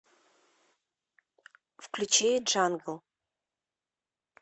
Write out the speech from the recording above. включи джангл